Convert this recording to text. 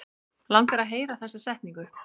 Langar að heyra þessa setningu.